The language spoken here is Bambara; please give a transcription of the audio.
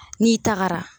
N'i tagara